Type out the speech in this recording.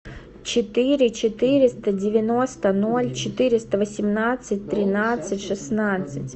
четыре четыреста девяносто ноль четыреста восемнадцать тринадцать шестнадцать